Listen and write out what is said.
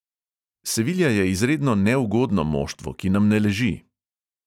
Sevilja je izredno neugodno moštvo, ki nam ne leži.